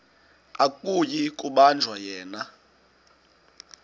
akuyi kubanjwa yena